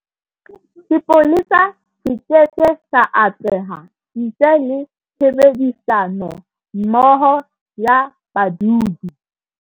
Sepolesa se keke sa atleha ntle le tshebedisanommoho ya badudi.